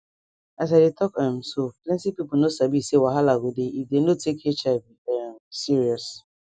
as i dey talk um so plenti pipo no sabi say wahala go dey if dey no take hiv um serious